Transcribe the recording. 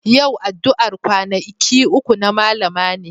Yau addu'ar kwanaki uku na Mallama ne.